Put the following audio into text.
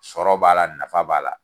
Sɔrɔ b'a la nafa b'a la.